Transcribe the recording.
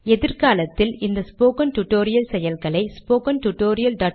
எதிர்காலத்தில் இந்த spoken tutorial செயல்களை ஸ்போக்கன் டியூட்டோரியல்